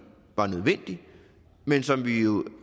var nødvendig men som vi jo